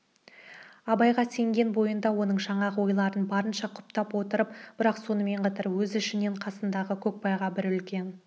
абайға сенген бойында оның жаңағы ойларын барынша құптап отырып бірақ сонымен қатар өз ішінен қасындағы көкбайға бір үлкен